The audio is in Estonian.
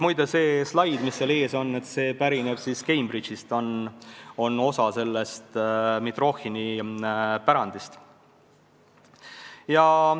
Muide, see slaid seal ees pärineb Cambridge'ist, see on osa selle Mitrohhini pärandist.